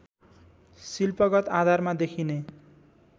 शिल्पगत आधारमा देखिने